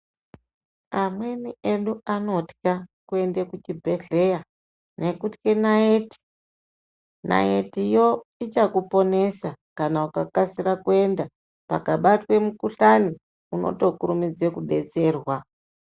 Amweni edu anotwa kuende kuchibhehleya ngekutwe naiti naiti yo ichakuponesa kana ukakasira kuenda kana pakabatwe mukuhlani inotokurumidze kudetserwa.